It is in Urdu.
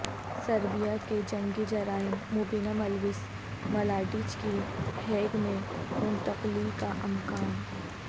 سربیا کے جنگی جرائم مبینہ ملوث ملاڈچ کی ہیگ میں منتقلی کا امکان